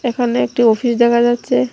এখানে একটি অফিস দেখা যাচ্ছে।